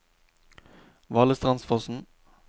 Valestrandsfossen